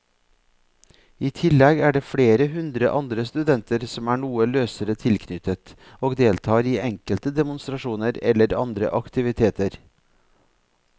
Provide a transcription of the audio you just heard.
I tillegg er det flere hundre andre studenter som er noe løsere tilknyttet og deltar i enkelte demonstrasjoner eller andre aktiviteter.